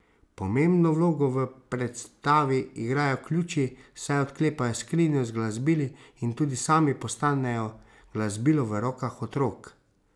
Pomembno vlogo v predstavi igrajo ključi, saj odklepajo skrinjo z glasbili in tudi sami postanejo glasbilo v rokah otrok.